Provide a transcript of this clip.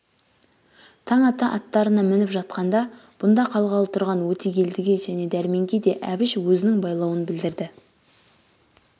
таң ата аттарына мініп жатқанда бұнда қалғалы тұрған өтегелдіге және дәрменге де әбіш өзінің байлауын білдірді